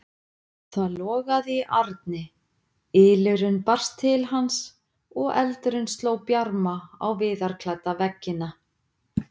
Það logaði í arni, ylurinn barst til hans og eldurinn sló bjarma á viðarklædda veggina.